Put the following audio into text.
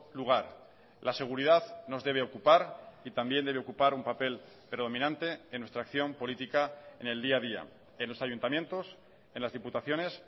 lugar la seguridad nos debe ocupar y también debe ocupar un papel predominante en nuestra acción política en el día a día en los ayuntamientos en las diputaciones